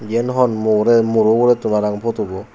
yen hon mo rey muro uguretun parang putobo.